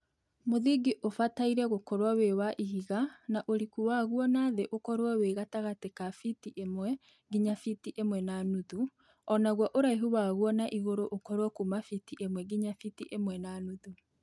Mũthingi ũbataire gũkorwo wĩ wa ihiga na ũriku waguo na thĩ ũkorwo wĩ gatagatĩ ka biti ĩmwe nginya biti ĩmwe na nuthu o naguo ũraihu waguo na igũrũ ũkorwo kuma biti ĩmwe nginya biti ĩmwe na nuthu.